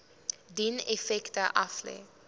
dien effekte aflê